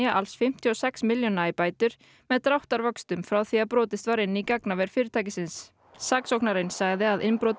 alls fimmtíu og sex milljóna í bætur með dráttarvöxtum frá því brotist var inn í gagnaver fyrirtækisins saksóknarinn sagði að innbrot